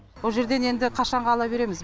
бұ жерден енді қашанғы ала береміз